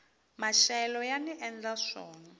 maxelo yani endla swona